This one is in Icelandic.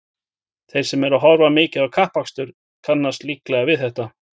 Þeir sem horfa mikið á kappakstur kannast líklega við þetta.